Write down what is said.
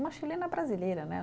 Uma chilena brasileira, né?